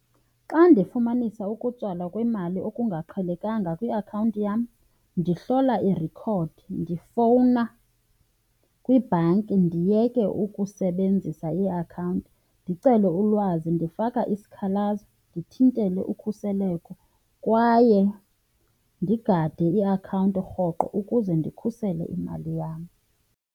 Xa ndifumanisa ukutsalwa kwemali okungaqhelekanga kwiakhawunti yam ndihlola irekhodi, ndifowuna kwibhanki ndiyeke ukusebenzisa iakhawunti, ndicele ulwazi, ndifake isikhalazo, ndithintele ukhuseleko kwaye ndigade iakhawunti rhoqo ukuze ndikhusele imali yam.